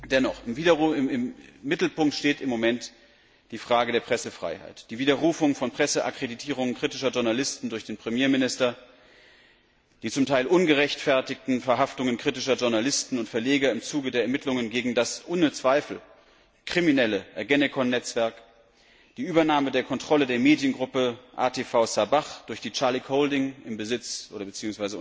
Dennoch, im Mittelpunkt steht im Moment die Frage der Pressefreiheit, die Widerrufung von Presseakkreditierungen kritischer Journalisten durch den Premierminister, die zum Teil ungerechtfertigten Verhaftungen kritischer Journalisten und Verleger im Zuge der Ermittlungen gegen das ohne Zweifel kriminelle Ergenekon Netzwerk, die Übernahme der Kontrolle der Mediengruppe ATV Sabah durch die Scharlach Holding im Besitz bzw.